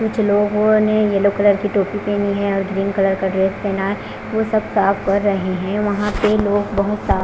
कुछ लोगों ने येलो कलर की टोपी पहनी है और ग्रीन कलर का ड्रेस पहना है वो सब साफ कर रहे हैं वहां पे लोग बहोत सा--